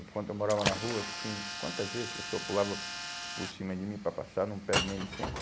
Enquanto eu morava na rua, tinha, quantas vezes a pessoa pulava por cima de mim para passar, não pede nem licença.